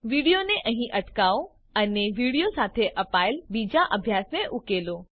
વિડીઓને અહીં અટકાવો અને વિડીઓ સાથે અપાયેલ બીજા અભ્યાસને ઉકેલો